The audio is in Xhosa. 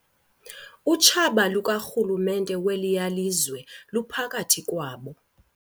Utshaba lukarhulumente weliya lizwe luphakathi kwabo.